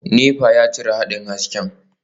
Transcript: Nepa ya cire haɗin hasken.